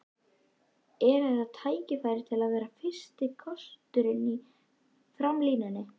Er þetta tækifæri til að vera fyrsti kosturinn í framlínunni?